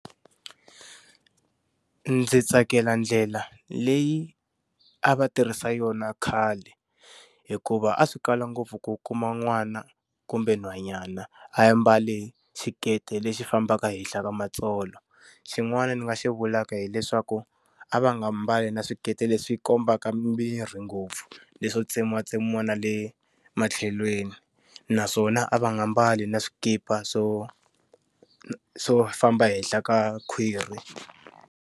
Ndzi tsakela ndlela leyi a va tirhisa yona khale, hikuva a swi kala ngopfu ku kuma n'wana kumbe nhwanyana a mbale xiketi lexi fambaka henhla ka matsolo. Xin'wana ndzi nga xi vulaka hileswaku a va nga mbali na swikete leswi kombaka miri ngopfu, leswo tsemiwatsemiwa na le matlhelweni. Naswona a va nga mbali na swikipa swo swo famba henhla ka khwiri.